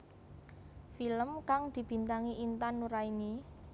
Film kang dibintangi Intan Nuraini